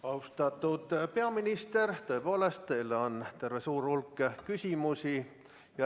Austatud peaminister, tõepoolest, teile on terve hulk küsimusi.